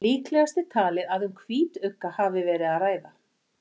Líklegast er talið að um hvítugga hafi verið að ræða.